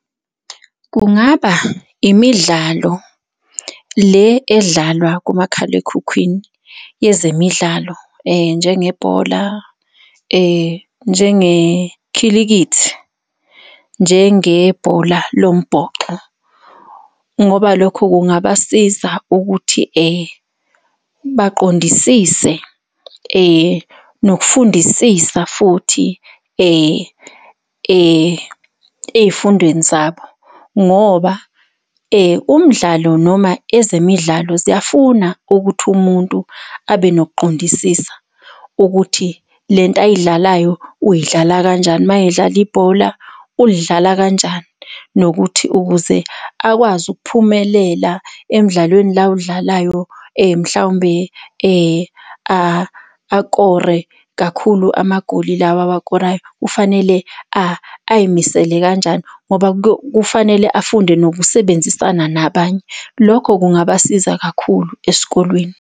Kungaba imidlalo le edlalwa kumakhalekhukhwini yezemidlalo njengebhola, njengekhilikithi, njengebhola lombhoxo, ngoba lokho kungabasiza ukuthi baqondisise nokufundisisa futhi ey'fundweni zabo ngoba umdlalo noma ezemidlalo ziyafuna ukuthi umuntu abe nokuqondisisa ukuthi lento ayidlalayo uyidlala kanjani mayedlala ibhola ulidlala kanjani? Nokuthi ukuze akwazi ukuphumelela emidlalweni la awudlalayo mhlawumbe akore kakhulu amagoli lawa awakorayo kufanele ay'misele kanjani? ngoba kufanele afunde nokusebenzisana nabanye. Lokho kungabasiza kakhulu esikolweni.